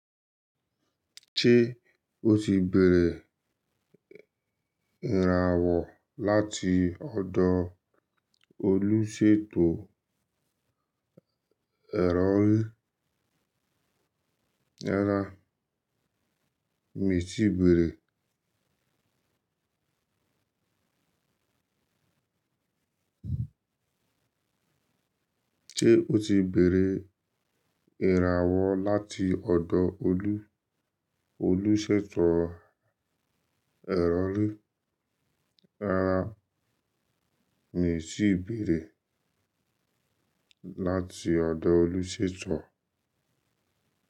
Ṣé o ti bèrè ìràwọ̀ láti ọ̀dọ̀ olùṣètò ẹ̀rọ́rí? Rárá, mi ò tíì bèrè. Ṣé o ti bèrè ìràwọ̀ láti ọ̀dọ̀ olú? Olùṣètò ìrọ̀rí? Rárá, mi ò tíì bèrè láti ọ̀dọ̀ olùṣètò.